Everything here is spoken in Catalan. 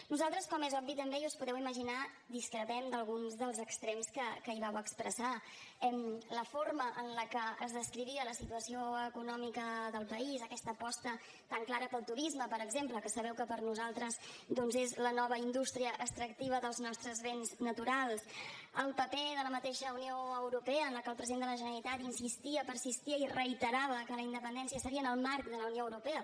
nosaltres com és obvi també i us ho podeu imaginar discrepem d’alguns dels extrems que hi vau expressar la forma en la que es descrivia la situació econòmica del país aquesta aposta tan clara pel turisme per exemple que sabeu que per nosaltres doncs és la nova indústria extractiva dels nostres béns naturals el paper de la mateixa unió europea en la que el president de la generalitat insistia persistia i reiterava que la independència seria en el marc de la unió europea